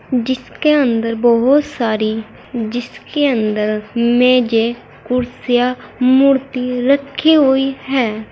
जिसके अंदर बोहोत सारी जिसके अंदर मेजें कुर्सियां मूर्ति रखी हुई हैं।